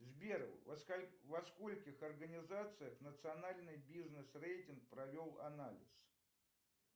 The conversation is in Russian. сбер во скольких организациях национальный бизнес рейтинг провел анализ